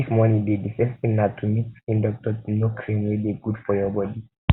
if money dey di first thing na to meet skin doctor to know cream wey dey good for your body